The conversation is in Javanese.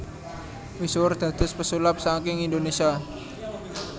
Misuwur dados pesulap saking Indonésia